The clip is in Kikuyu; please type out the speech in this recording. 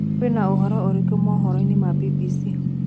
Kwĩnaũhoro ũrikũ mohoro-ĩnĩ ma B.B.C